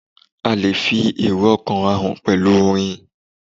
A lè fi èrò ọ̀kàn hàn pẹ̀lú orin